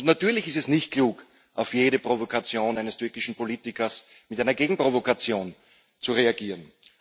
Natürlich ist es nicht klug, auf jede Provokation eines türkischen Politikers mit einer Gegenprovokation zu reagieren.